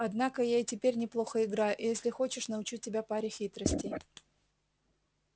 однако я и теперь неплохо играю и если хочешь научу тебя паре хитростей